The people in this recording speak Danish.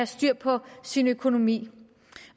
styr på sin økonomi